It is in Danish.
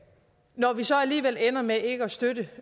når vi så alligevel ender med ikke at støtte